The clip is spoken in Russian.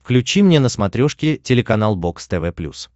включи мне на смотрешке телеканал бокс тв плюс